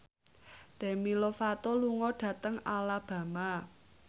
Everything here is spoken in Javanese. Demi Lovato lunga dhateng Alabama